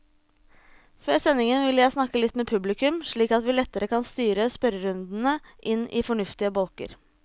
Før sending vil jeg snakke litt med publikum, slik at vi lettere kan styre spørrerundene inn i fornuftige bolker.